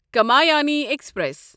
Kamayani express